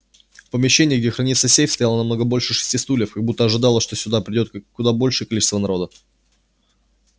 в помещении где хранится сейф стояло намного больше шести стульев как будто ожидалось что сюда придёт куда большее количество народа